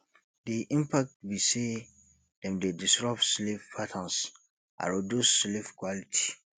di impact be say dem dey disrupt sleep patterns and reduce sleep quality